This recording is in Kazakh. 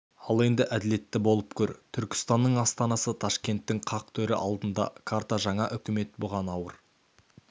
ал енді әділетті болып көр түркістанның астанасы ташкенттің қақ төрі алдында карта жаңа өкімет бұған ауыр